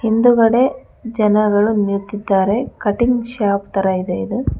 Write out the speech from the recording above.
ಹಿಂದುಗಡೆ ಜನಗಳು ನಿಂತಿದ್ದಾರೆ ಕಟಿಂಗ್ ಶಾಪ್ ತರ ಇದೆ ಇದು.